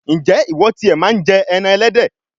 ǹjẹ́ ìwọ ti è màa ń jẹ ẹran ẹlẹ́dẹ̀?